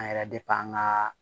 An yɛrɛ an ka